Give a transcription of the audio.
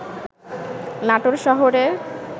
নাটোর শহরের